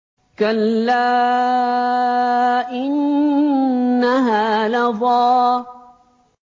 كَلَّا ۖ إِنَّهَا لَظَىٰ